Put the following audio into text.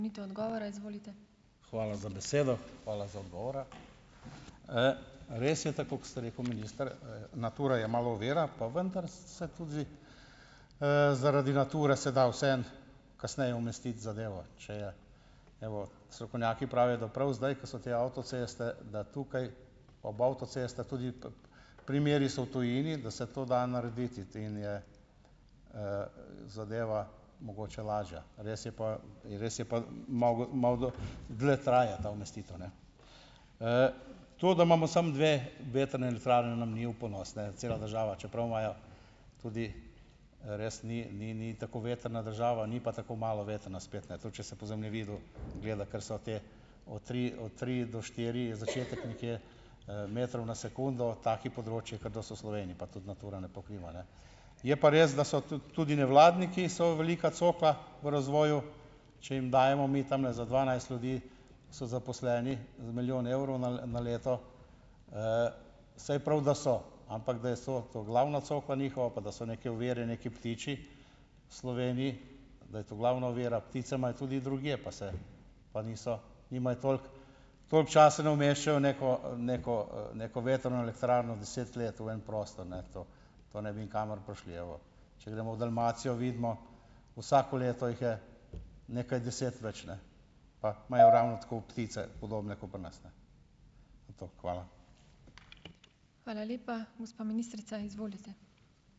Hvala za besedo. Hvala za odgovore. Res je tako, kot ste rekel minister, Natura je malo ovira, pa vendar se tudi, zaradi Nature se da vseeno kasneje umestiti zadevo, če je. Evo, strokovnjaki pravijo, da prav zdaj, ko so te avtoceste, da tukaj ob avtocestah tudi primeri so v tujini, da se to da narediti in je, zadeva mogoče lažja. Res je pa ... In res je pa dlje traja ta umestitev, ne. to da imamo samo dve vetrne elektrarne nam ni v ponos, ne. Cela država, čeprav imajo tudi, res ni ni ni tako vetrna država, ni pa tako malo vetrna spet, ne, tudi če se po zemljevidu gleda, ker so te od tri od tri do štiri, začetek nekje, metrov na sekundo, taki področji, kot da so v Sloveniji, pa tudi Natura ne pokriva, ne. Je pa res, da so tudi tudi nevladniki so velika cokla v razvoju, če jim dajemo mi tamle za dvanajst ljudi, so zaposleni, za milijon evrov na na leto, saj je prav, da so, ampak da je, so to glavna cokla njihova, pa da so neke ovire, neki ptiči v Sloveniji, da je to glavna ovira, ptice imajo tudi drugje, pa se pa niso nimajo toliko, koliko časa ne umeščajo v neko, neko, neko vetrne elektrarno deset let v en prostor, ne, to to ne bi nikamor prišli. Evo, če gremo v Dalmacijo, vidimo, vsako leto jih je nekaj deset več, ne, pa imajo ravno tako ptice podobne ko pri nas, ne. Hvala.